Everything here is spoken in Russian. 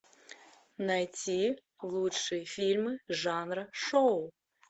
найти лучшие фильмы жанра шоу